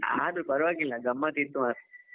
ಆದ್ರೂ ಪರವಾಗಿಲ್ಲ, ಗಮ್ಮತ್ ಇತ್ತು ಮಾತ್ರ.